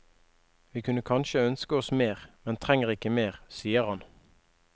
Vi kunne kanskje ønske oss mer, men trenger ikke mer, sier han.